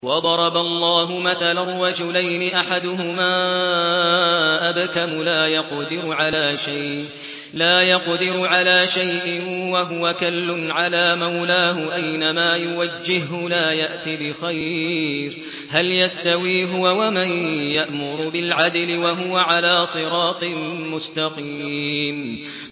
وَضَرَبَ اللَّهُ مَثَلًا رَّجُلَيْنِ أَحَدُهُمَا أَبْكَمُ لَا يَقْدِرُ عَلَىٰ شَيْءٍ وَهُوَ كَلٌّ عَلَىٰ مَوْلَاهُ أَيْنَمَا يُوَجِّههُّ لَا يَأْتِ بِخَيْرٍ ۖ هَلْ يَسْتَوِي هُوَ وَمَن يَأْمُرُ بِالْعَدْلِ ۙ وَهُوَ عَلَىٰ صِرَاطٍ مُّسْتَقِيمٍ